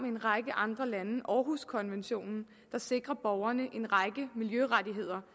en række andre lande århuskonventionen der sikrer borgerne en række miljørettigheder